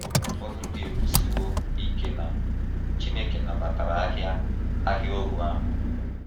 Ọbụna ụfọdụ ndị ekwusiwo ike na Chineke nabatara ahịa ahịa ohu ahụ.